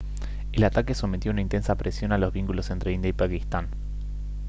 el ataque sometió a una intensa presión a los vínculos entre india y pakistán